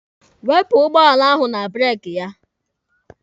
Wepụ ụgbọala ahụ na breeki ya!